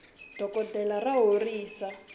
dokoltela ra horisa